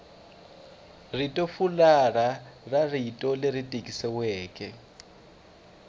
ritofularha ra rito leri tikisiweke